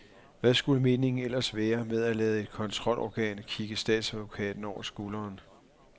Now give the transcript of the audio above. Hvad skulle meningen ellers være med at lade et kontrolorgan kigge statsadvokaten over skulderen.